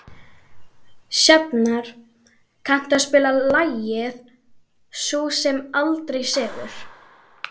Sjafnar, kanntu að spila lagið „Sú sem aldrei sefur“?